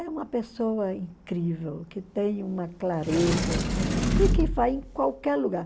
É uma pessoa incrível, que tem uma clareza e que vai em qualquer lugar.